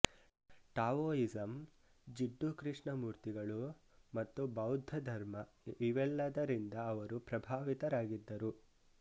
Taoism Jiddu ಕೃಷ್ಣಮೂರ್ತಿಗಳು ಮತ್ತು ಬೌದ್ಧಧರ್ಮ ಇವೆಲ್ಲದರಿಂದ ಅವರು ಪ್ರಭಾವಿತರಾಗಿದ್ದರು